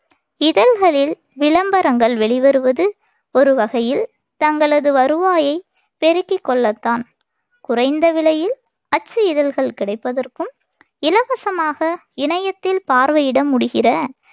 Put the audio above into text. இதழ்களில் விளம்பரங்கள் வெளிவருவது ஒரு வகையில் தங்களது வருவாயைப் பெருக்கிக் கொள்ளத்தான். குறைந்த விலையில் அச்சு இதழ்கள் கிடைப்பதற்கும், இலவசமாக இணையத்தில் பார்வையிட முடிகிற